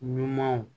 Ɲumanw